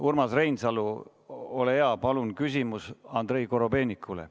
Urmas Reinsalu, ole hea, palun küsimus Andrei Korobeinikule.